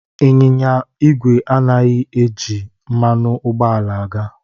Anyịnya ígwè anaghị eji mmanụ ụgbọala aga.